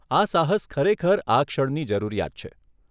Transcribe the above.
આ સાહસ ખરેખર આ ક્ષણની જરૂરિયાત છે.